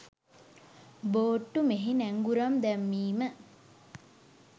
බෝට්ටු මෙහි නැංගුරම් දැමිම